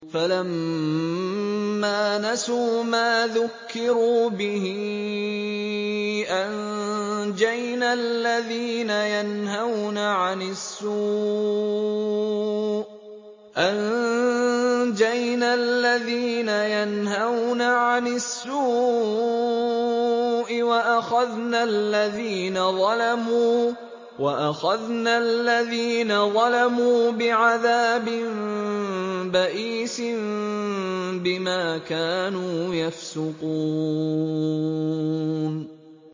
فَلَمَّا نَسُوا مَا ذُكِّرُوا بِهِ أَنجَيْنَا الَّذِينَ يَنْهَوْنَ عَنِ السُّوءِ وَأَخَذْنَا الَّذِينَ ظَلَمُوا بِعَذَابٍ بَئِيسٍ بِمَا كَانُوا يَفْسُقُونَ